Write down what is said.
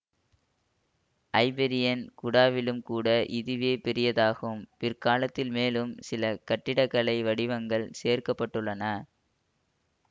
Iberian குடாவிலும் கூட இதுவே பெரியதாகும் பிற்காலத்தில் மேலும் சில கட்டிடக்கலை வடிவங்கள் சேர்க்க பட்டுள்ளன